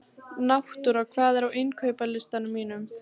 Náttúra, hvað er á innkaupalistanum mínum?